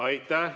Aitäh!